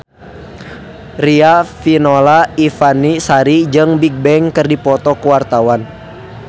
Riafinola Ifani Sari jeung Bigbang keur dipoto ku wartawan